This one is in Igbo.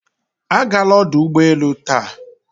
Agala ọdụ ụgbọ elu taa!